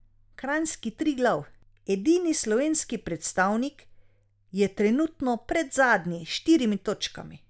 Kranjski Triglav, edini slovenski predstavnik, je trenutno predzadnji s štirimi točkami.